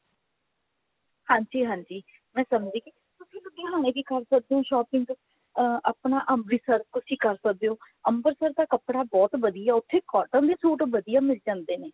ਹਾਂਜੀ ਹਾਂਜੀ ਮੈਂ ਸਮਝ ਗਈ ਤੁਸੀਂ ਲੁਧਿਆਣੇ ਵੀ ਕਰ ਸਕਦੇ ਹੋ shopping ਅਹ ਆਪਣਾ ਅੰਮ੍ਰਿਤਸਰ ਤੁਸੀਂ ਕਰ ਸਕਦੇ ਹੋ ਅੰਮ੍ਰਿਤਸਰ ਦਾ ਕੱਪੜਾ ਬਹੁਤ ਵਧੀਆ ਉੱਥੇ cotton ਦੇ suit ਵਧੀਆ ਮਿਲ ਜਾਂਦੇ ਨੇ